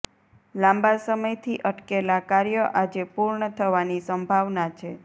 લાંબા સમયથી અટકેલા કાર્ય આજે પૂર્ણ થવાની સંભાવના છે